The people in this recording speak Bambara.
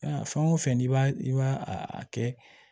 Fɛn o fɛn n'i b'a i b'a a kɛ